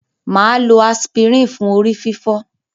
Maa lo aspirin fun orififo.